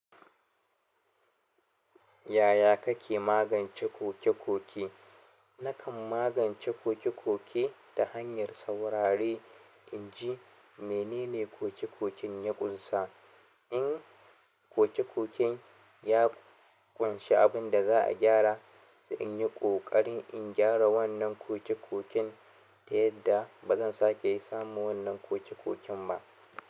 Yaya kake magance koke-koke? Nakan magance koke-koke ta hanyar saurare inji menene koke-koken ya ƙunsa. In koke-koken ya ƙunshi abin da za a gyara, sai in yi ƙoƙarin in gyara wannan koke-koken, da yadda ba zan sake samu wannan koke-koken ba.